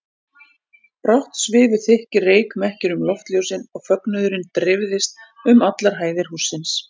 Brátt svifu þykkir reykmekkir um loftljósin og fögnuðurinn dreifðist um allar hæðir hússins.